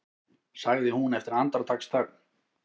sagði hún eftir andartaksþögn.